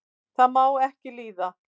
það má ekki líða